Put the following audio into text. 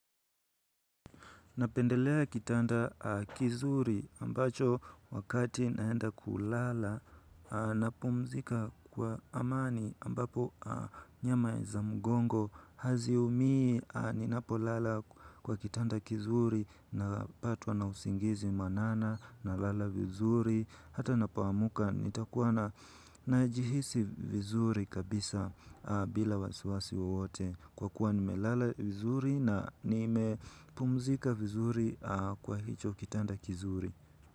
Napendelea kitanda kizuri ambacho wakati naenda kulala napumzika kwa amani ambapo nyama za mgongo haziumii ninapolala kwa kitanda kizuri napatwa na usingizi mwanana nalala vizuri. Hata napoamka nitakuwa najihisi vizuri kabisa bila wasiwasi wowote. Kwa kuwa nimelala vizuri na nimepumzika vizuri kwa hicho kitanda kizuri.